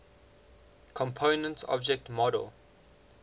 component object model